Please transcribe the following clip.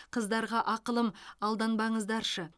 қыздарға ақылым алданбаңыздаршы